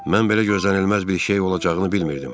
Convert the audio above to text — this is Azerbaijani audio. Mən belə gözlənilməz bir şey olacağını bilmirdim.